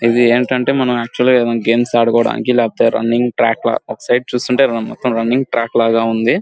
ఇది ఆక్చువల్లి ఏంటంటే మనం గేమ్స్ ఆడుకోడానికి లేకపోతే రన్నింగ్ ట్రాక్ లా ఒక సైడ్ చూస్తుంటే రన్నింగ్ ట్రాక్ లా ఉంది.